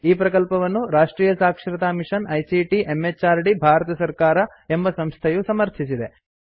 ಈ ಪ್ರಕಲ್ಪವನ್ನು ರಾಷ್ಟ್ರಿಯ ಸಾಕ್ಷರತಾ ಮಿಷನ್ ಐಸಿಟಿ ಎಂಎಚಆರ್ಡಿ ಭಾರತ ಸರ್ಕಾರ ಎಂಬ ಸಂಸ್ಥೆಯು ಸಮರ್ಥಿಸಿದೆ